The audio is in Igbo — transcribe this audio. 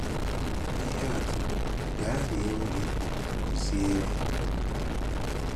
Ìhè àtụ̀: “Gaa rie nri, kụ́ziere.”